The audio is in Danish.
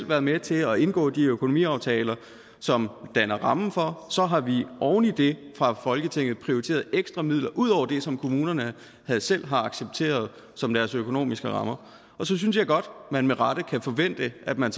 været med til at indgå de økonomiaftaler som danner rammen for og så har vi oven i det fra folketingets side prioriteret ekstra midler altså ud over det som kommunerne selv har accepteret som deres økonomiske rammer og så synes jeg godt man med rette kan forvente at man